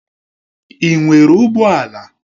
Ị nwere ụgbọ ala?